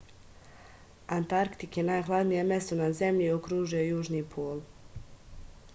antarktik je najhladnije mesto na zemlji i okružuje južni pol